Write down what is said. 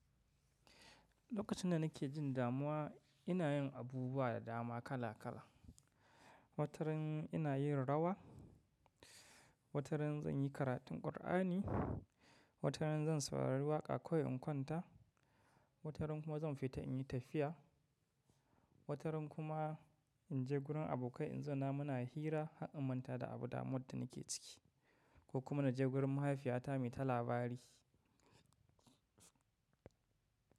Lokacin da nake jin damuwa ina yin abubuwa da dama kala kala. Wataran ina yin rawa, wataran zan yi karatun Kur'ani, wataran zan saurari waƙa kawai in kwanta, wataran kuma zan fita in yi tafiya, wataran kuma in je gurin abokai in zauna muna hira har in manta da abu damuwar da nake ciki ko kuma na je gurin mahaifiyata me ta labari.